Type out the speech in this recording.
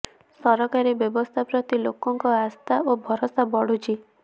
ସରକାରୀ ବ୍ୟବସ୍ଥା ପ୍ରତି ଲୋକଙ୍କ ଆସ୍ଥା ଓ ଭରସା ବଢ଼ୁଛି